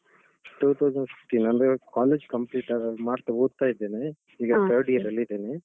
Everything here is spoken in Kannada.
Two thousand fifteen ಅಂದ್ರೆ college complete ಆದ ಮಾತ್ರ, ಓದ್ತಾ ಇದ್ದೇನೆ. ಈಗ third year ಅಲ್ಲಿದ್ದೇನೆ.